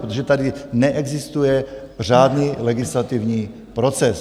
Protože tady neexistuje řádný legislativní proces.